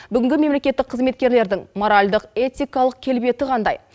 бүгінгі мемлекеттік қызметкерлердің моральдық этикалық келбеті қандай